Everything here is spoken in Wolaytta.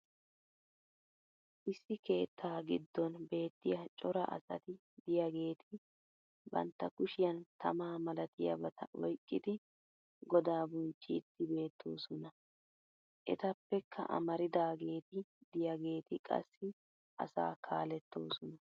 issi keettaa giddon beetiya cora asati diyaageeti bantta kushshiyan tamaa malatiyaabata oykkidi godaa bonchchiidi beetoosona. etappekka amaridaageeti diyaageeti qassi asaa kaalettoosona.